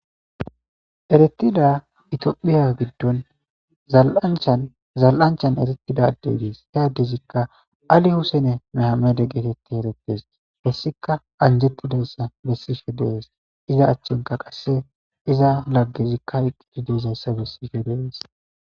eretida itiophiya giddon zal7anchanzal7anchan eretida adde dees heyaddezikka ali husene mehamede getetti eretes hessika anjettidayssa bessishe dees iza achchenka qasse iza laggezikka iqqii deizayssa bessishe dees